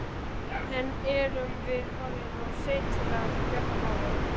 En erum við orðin of sein til að bjarga málum?